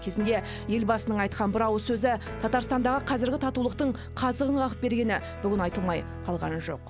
кезінде елбасының айтқан бір ауыз сөзі татарстандағы қазіргі татулықтың қазығын қағып бергені де айтылмай қалған жоқ